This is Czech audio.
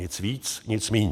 Nic víc, nic míň.